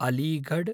Aligarh